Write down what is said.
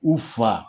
U fa